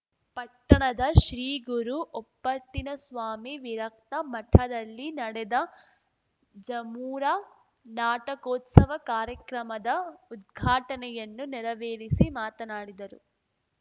ಪಟ್ಟಣದ ಶ್ರೀ ಗುರು ಓಪ್ಪತ್ತಿನಸ್ವಾಮಿ ವಿರಕ್ತ ಮಠದಲ್ಲಿ ನಡೆದ ಜಮುರಾ ನಾಟಕೋತ್ಸವ ಕಾರ್ಯಕ್ರಮದ ಉದ್ಘಾಟನೆಯನ್ನು ನೇರವೇರಿಸಿ ಮಾತನಾಡಿದರು